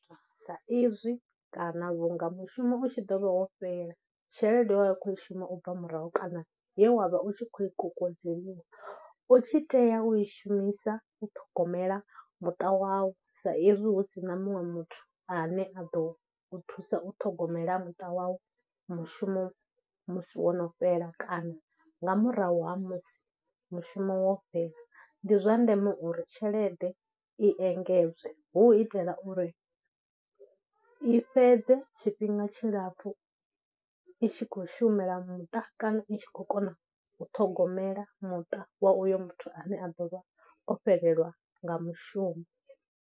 Sa izwi kana vhunga mushumo u tshi ḓo vha wo fhela, tshelede wa khou i shuma u bva murahu kana ye wa vha u tshi khou i kokodzeliwa u tshi tea u i shumisa u ṱhogomela muṱa wawu sa izwi hu si na muṅwe muthu ane a ḓo thusa u ṱhogomela muṱa wawu, mushumo musi wono fhela kana nga murahu ha musi mushumo wo fhela. Ndi zwa ndeme uri tshelede i engedzwe hu u itela uri i fhedze tshifhinga tshilapfhu itshi khou shumela muṱa kana i tshi khou kona u ṱhogomela muṱa wa uyo muthu ane a ḓo vha o fhelelwa nga mushumo.